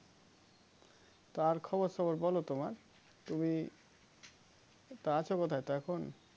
তার খবর সবর বোলো তোমার তুমি তা আছো কোথায় তা এখন?